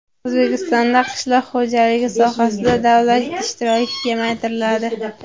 O‘zbekistonda qishloq xo‘jaligi sohasida davlat ishtiroki kamaytiriladi.